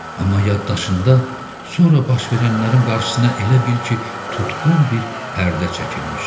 Amma yaddaşında sonra baş verənlərin qarşısına elə bil ki, tutqun bir pərdə çəkilmişdi.